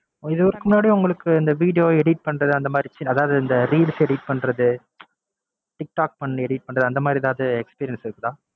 இதுக்கு முன்னாடி உங்களுக்கு இந்த video edit பண்றது, அந்தமாதிரி அதாவது இந்த reels edit பண்றது, tik-tok பண்ணி edit பண்றது அந்தமாதிரி எதாவது experience இருக்கா?